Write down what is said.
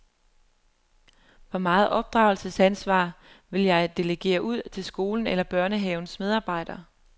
Hvor meget opdragelsesansvar vil jeg delegere ud til skolens eller børnehavens medarbejdere?